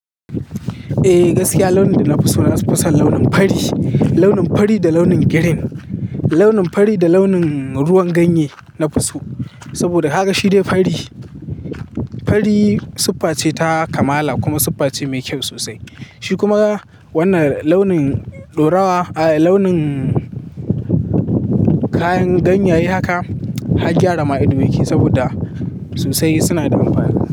Eh gaskiya launin da na fi so na fison launin fari, launin fari da launin green, launin fari da launin ruwan ganye na fi so. Saboda kaga shi de fari. Fari siffa ce ta kamala kuma siffa ce mai kyau sosai. Shi kuma wannan launin dorawa, launin kayan ganye ya yi haka har gyara ma ido mai kyau saboda sosai suna da amfani.